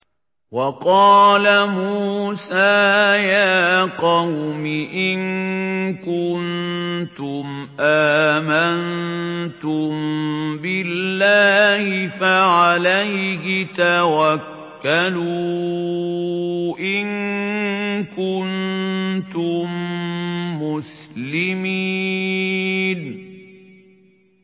وَقَالَ مُوسَىٰ يَا قَوْمِ إِن كُنتُمْ آمَنتُم بِاللَّهِ فَعَلَيْهِ تَوَكَّلُوا إِن كُنتُم مُّسْلِمِينَ